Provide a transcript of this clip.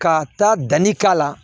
Ka taa danni k'a la